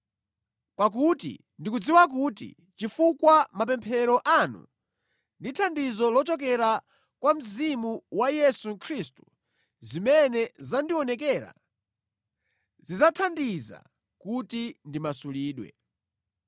pakuti ndikudziwa kuti chifukwa cha mapemphero anu ndi thandizo lochokera kwa Mzimu wa Yesu Khristu, zimene zandionekera zidzathandiza kuti ndimasulidwe.